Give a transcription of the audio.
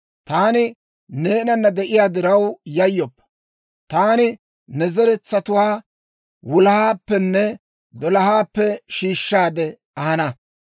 «Taani neenana de'iyaa diraw yayyoppa; taani ne zeretsatuwaa wulahaappenne dolahaappe shiishshaade ahana.